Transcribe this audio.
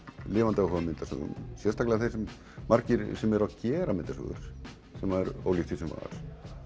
lifandi áhuga á myndasögum sérstaklega þeir sem margir sem eru að gera myndasögur sem er ólíkt því sem var